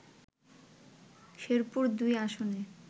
শেরপুর-২ আসনের